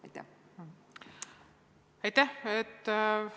Aitäh!